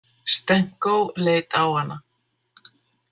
Stenko leit á hana.